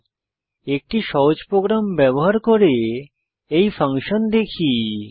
এখন একটি সহজ প্রোগ্রাম ব্যবহার করে এই ফাংশন দেখি